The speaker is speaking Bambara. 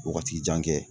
Wagati jan kɛ